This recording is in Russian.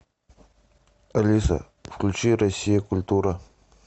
алиса включи россия культура